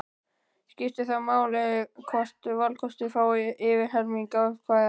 Skiptir þá ekki máli hvort valkostur fái yfir helming atkvæða.